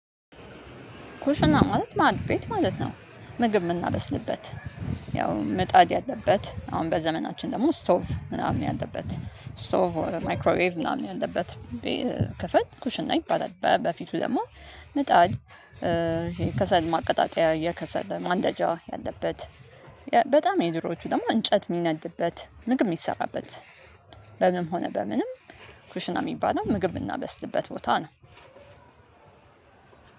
ኩሽና ማለት ማዕድ ቤት ማለት ነው ምግብ ምናበስልበት ያው ምጣድ ያለበት አሁን በዘመናችን ደግሞ ስቶፍ ምናምን ያለበት ስቶፍ ኦር ማይክሮዌቭ ምናምን ያለበት ክፍል ኩሽን ይባላል። በ በፊቱ ደግሞ ምጣድ እ ከሰል ማቀጣጠያ የከሰለ ማንደጃ ያለበት በጣም የድሮዎቹ ደግሞ እንጨት የሚነድበት ምግብ የሚሰራበት። በምንም ሆነ በምንም ኩሽና የሚባለው ምግብ የምናበስልበት ቦታ ነው።